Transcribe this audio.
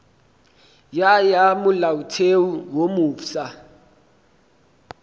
ya ya molaotheo wo mofsa